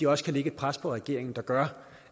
også kan lægge et pres på regeringen der gør